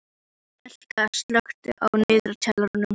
Elka, slökktu á niðurteljaranum.